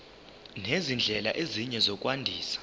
nezindlela ezinye zokwandisa